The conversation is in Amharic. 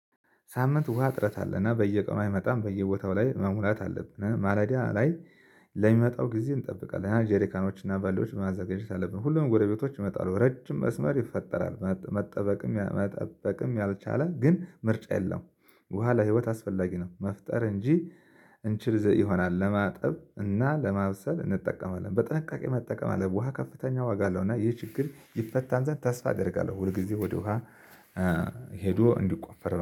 ሳምንት ውሃ እጥረት አለና በየቀኑ አይመጣም በየቦታው ላይ መሙላት አለብን ማለዳ ላይ። ለሚመጣው ጊዜ እንጠብቃለን ሃያ ጄሪካኖችና ባልዲዎች ማዘጋጅት አለብን ሁሉም ጎረቤቶች ይመጣሉ ረጅም መስመር ይፈጠራል። መጠበቅም ያልቻለ ግን ምርጫ የለውም። ውሃ ለህይወት አስፈላጊ ነው። መፍጠር እንችል ይሆናል ለማጠብ እና ለማብሰል እንጠቀመዋለን በጥንቃቄ መጠቀም አለብን። ውሃ ከፍተኛ ዋጋ አለው። እና ይህ ችግር ይፈታ ዘንድ ተስፋ አደርጋለሁ ሁል ጊዜ ወደ ውሃ ሄዶ እንዲቆፈር